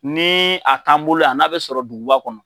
Ni a t'an bolo yan n'a bɛ sɔrɔ duguba kɔnɔ.